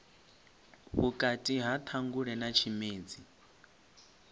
vhukati ha ṱhangule na tshimedzi